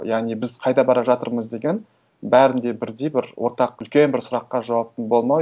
яғни біз қайда бара жатырмыз деген бәрінде бірдей бір ортақ үлкен бір сұраққа жауаптың болмауы